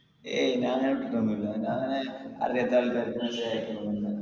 എയ് ഞാനയച്ചിട്ടൊന്നും ഇല്ല ഞാനങ്ങനെ അറിയാത്ത ആൾക്കരിക്ക് message അയക്ക